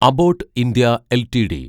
Abbott India LTD